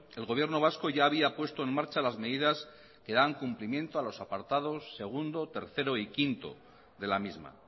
el gobierno vasco ya había puesto en marcha las medidas que dan cumplimiento a los apartados segundo tercero y quinto de la misma